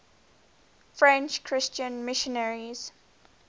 french christian missionaries